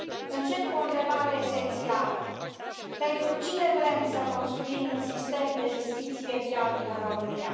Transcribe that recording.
Încep cu o întrebare esențială pentru cine vrem să construim un sistem de justiție viabil în România?